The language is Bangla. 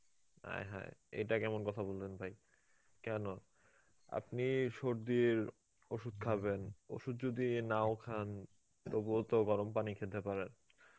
আয় হায় এটা কেমন কথা বললেন ভাই কেন, আপনি সর্দির ওষুধ খাবেন ওষুধ যদি নাও খান তবুও তো গরম পানি খেতে পারেন.